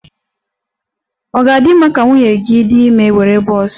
Ọ ga-adị mma ka nwunye gị dị ime were bọs?